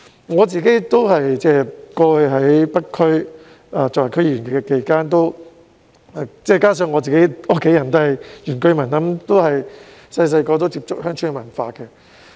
我曾擔任北區區議員，加上我的家人也是原居民，自小便接觸鄉村文化。